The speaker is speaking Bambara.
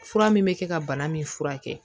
Fura min bɛ kɛ ka bana min furakɛ